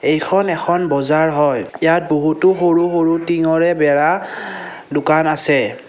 এইখন এখন বজাৰ হয় ইয়াত বহুতো সৰু সৰু টিংৰে বেৰা দোকান আছে।